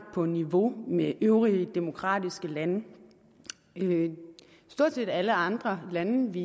på niveau med øvrige demokratiske lande stort set alle andre lande vi